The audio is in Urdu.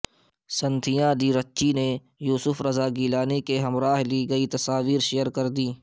سنتھیا ڈی رچی نے یوسف رضا گیلانی کے ہمراہ لی گئی تصاویر شئیر کردیں